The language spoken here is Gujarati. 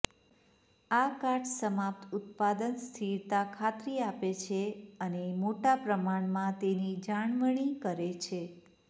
આ કાટ સમાપ્ત ઉત્પાદન સ્થિરતા ખાતરી આપે છે અને મોટા પ્રમાણમાં તેની જાળવણી કરે છે